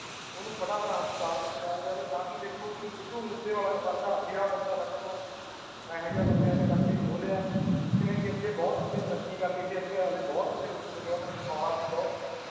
ਓਹਨੂੰ ਫਟਾ ਫਟ ਹਸਪਤਾਲ ਪਹੁਚਾਇਆ ਜਾਵੇ ਤਾਂ ਕਿ ਦੇਖੋ ਜੀ ਸਿੱਧੂ ਮੂਸੇਵਾਲਾ ਵਰਗਾ ਹੀਰਾ ਬੰਦਾ ਸਾਡੇ ਕੋਲੋਂ ਇਹੋ ਜੇ ਬਦਿਆਂ ਨੇ ਕਹੋ ਲਿਆ ਜਿਸਨੇ ਅਗੇ ਬਹੁਤ ਤਰੱਕੀ ਕਰਨੀ ਸੀ ਅੱਗੇ ਹਲੇ ਦੁਨੀਆਂ ਨੂੰ ਬਹੁਤ ਕੁੱਛ ਦੇਖਣਾ ਸੀ